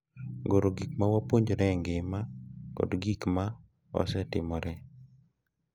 Goro gik ma wapuonjore e ngima kod gik ma osetimore